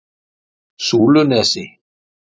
Súlunesi